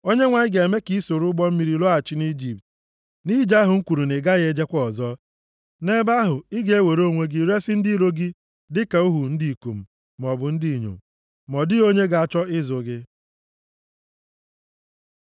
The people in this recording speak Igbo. Onyenwe anyị ga-eme ka i soro ụgbọ mmiri lọghachi nʼIjipt, nʼije ahụ m kwuru na ị gaghị ejekwa ọzọ. Nʼebe ahụ ị ga-ewere onwe gị resi ndị iro gị dịka ohu ndị ikom maọbụ ndị inyom, ma ọ dịghị onye ga-achọ ịzụ gị.